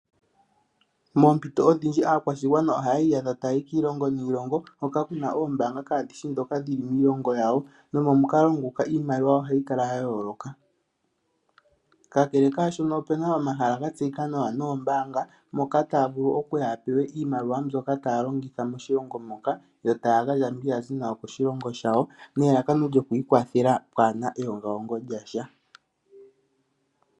Moompito odhindji aakwashigwana ohayi iyadha ta yayi kiilongo niilongo hoka kuna ombaanga kadhishi dhoka dhili miilongo yawo. Nomomukalo nguka iimaliwa ohayi kala ya yooloka. Ka kele kwaashono opena omahala ga tseyika nawa nombaanga moka taya vulu okupewa iimaliwa mbyoka taya vulu okulongitha moshilongo yo taga gandja mbi yazi nayo koshilongo shawo, elalaka oku ikwathela nuupù.